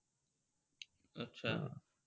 अच्छा!